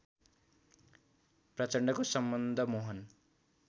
प्रचण्डको सम्बन्ध मोहन